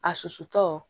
A susutɔ